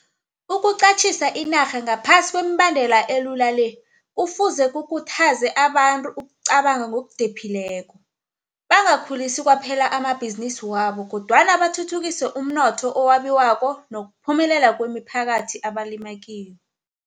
Ukuqatjhisa inarha ngaphasi kwemibandela elula le kufuze kukhuthaze abantu ukucabanga ngokudephileko, bangakhulisi kwaphela amabhizinisi wabo kodwana bathuthukise umnotho owabiwako nokuphumelela kwemiphakathi abalima kiyo.